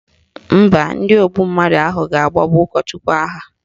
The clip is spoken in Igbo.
Mba, ndị ogbu mmadụ ahụ ga-agbagbu ụkọchukwu ha